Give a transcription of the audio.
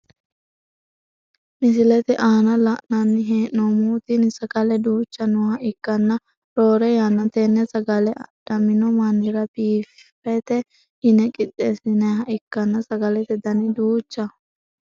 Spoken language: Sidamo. Misilete aana la`nani heenomohu tini sagale duucha nooha ikana roore yanna tene sagale adhamino manira biffete yine qixeesinayiha ikkana sagalete dani duucjaho.